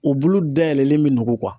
U bulu dayɛlɛlen bɛ nugu.